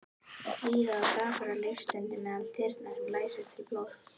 Líða og daprar lífsstundir meðal þyrna sem læsast til blóðs.